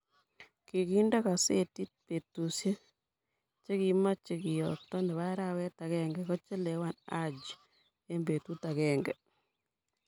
Kikente kasetiii betushe che kimocheikeyookto ni bo arawet akenge kochelewan Haji eng betut akenge.